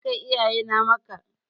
Zan kai iyaye na Makka.